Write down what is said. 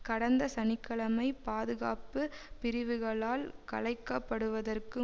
கடந்த சனி கிழமை பாதுகாப்பு பிரிவுகளால் கலைக்கப்படுவதற்கு